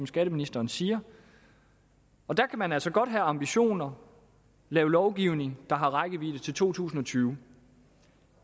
skatteministeren siger og der kan man altså godt have ambitioner og lave lovgivning der har rækkevidde til to tusind og tyve